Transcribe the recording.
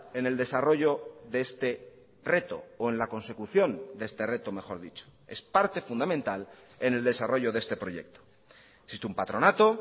en el desarrollo de este reto o en la consecución de este reto mejor dicho es parte fundamental en el desarrollo de este proyecto existe un patronato